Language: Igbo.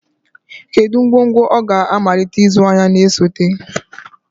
Kedu ngwongwo ọ ga-amalite ịzụ ahịa na-esote?